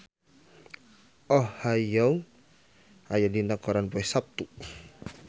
Oh Ha Young aya dina koran poe Saptu